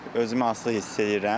Özümü asılı hiss edirəm.